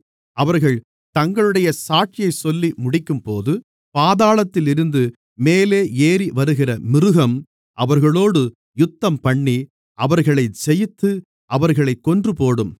அவர்கள் தங்களுடைய சாட்சியைச் சொல்லி முடிக்கும்போது பாதாளத்தில் இருந்து மேலே ஏறி வருகிற மிருகம் அவர்களோடு யுத்தம்பண்ணி அவர்களை ஜெயித்து அவர்களைக் கொன்றுபோடும்